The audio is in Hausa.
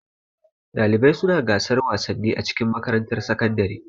Ɗalibai suna gasan wasanni a cikin makarantar sakandare.